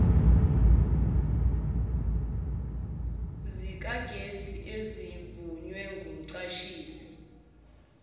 zikagesi ezivunywe ngumqashisi